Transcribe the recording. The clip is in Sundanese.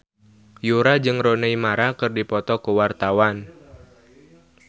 Yura jeung Rooney Mara keur dipoto ku wartawan